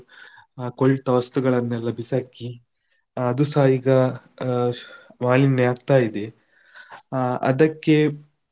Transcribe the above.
ಕೊಳ್ತಾ ವಸ್ತುಗಳನ್ನು ಎಲ್ಲ ಬಿಸಾಕಿ, ಅದುಸ ಈಗ ಆ ಮಾಲಿನ್ಯ ಆಗ್ತಾ ಇದೆ ಅಹ್ ಅದಕ್ಕೆ.